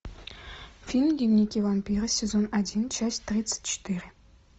фильм дневники вампира сезон один часть тридцать четыре